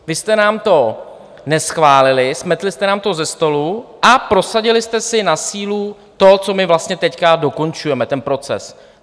Vy jste nám to neschválili, smetli jste nám to ze stolu a prosadili jste si na sílu to, co my vlastně teď dokončujeme, ten proces.